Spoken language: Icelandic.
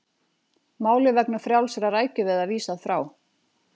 Máli vegna frjálsra rækjuveiða vísað frá